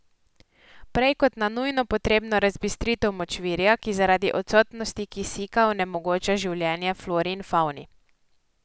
Prej kot na nujno potrebno razbistritev močvirja, ki zaradi odsotnosti kisika onemogoča življenje flori in favni.